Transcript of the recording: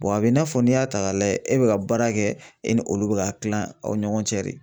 a bɛ i n'a fɔ n'i y'a ta k'a lajɛ e bɛ ka baara kɛ e ni olu bɛ ka kilan aw ni ɲɔgɔn cɛ de.